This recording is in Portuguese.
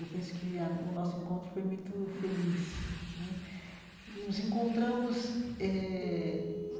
Eu penso que a o nosso encontro foi muito feliz né nos encontramos eh.